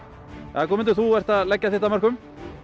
jæja Guðmundur þú ert að leggja þitt af mörkum